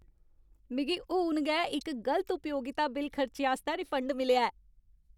मिगी हून गै इक गलत उपयोगिता बिल खर्चे आस्तै रिफंड मिलेआ ऐ।